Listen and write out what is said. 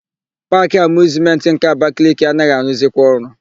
Paakị Amịuzmentị nke Abakaliki anaghị arụzikwa ọrụ.